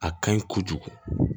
A ka ɲi kojugu